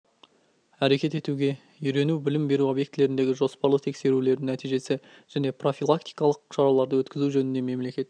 әрекет етуге үйрету білім беру объектілеріндегі жоспарлы тексерулердің нәтижесі және профилактикалық шараларды өткізу жөнінде мемлекеттік